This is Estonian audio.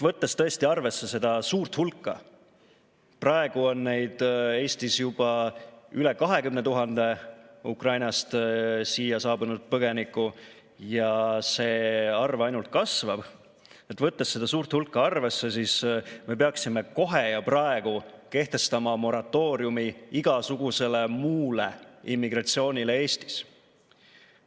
Võttes arvesse seda suurt hulka – praegu on Eestis juba üle 20 000 Ukrainast siia saabunud põgeniku ja see arv ainult kasvab –, peaksime kohe ja praegu kehtestama moratooriumi igasugusele muule immigratsioonile Eestis.